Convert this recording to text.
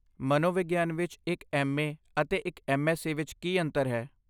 ਮਨੋਵਿਗਿਆਨ ਵਿੱਚ ਇੱਕ ਐਮ.ਏ. ਅਤੇ ਇੱਕ ਐਮਐਸਸੀ ਵਿੱਚ ਕੀ ਅੰਤਰ ਹੈ?